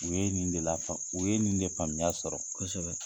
U ye nin de lafaamu o ye nin de faamuya sɔrɔ kosɛbɛ.